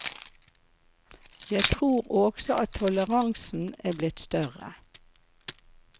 Jeg tror også at toleransen er blitt større.